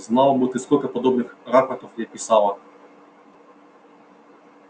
знал бы ты сколько подобных рапортов я писала